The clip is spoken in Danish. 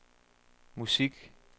musik